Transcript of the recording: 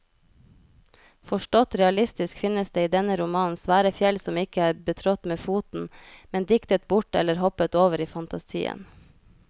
Forstått realistisk finnes det i denne romanen svære fjell som ikke er betrådt med foten, men diktet bort eller hoppet over i fantasien.